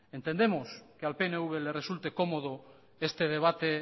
entendemos que al pnv le resulte cómodo este debate